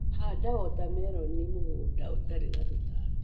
Handa wota meroni mũgũnda ũtarĩ na tũtambi.